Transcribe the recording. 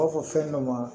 U b'a fɔ fɛn dɔ ma